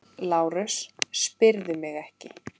LÁRUS: Spyrðu mig ekki!